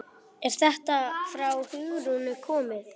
Er þetta frá Hugrúnu komið?